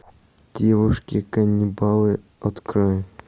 девушки каннибалы открой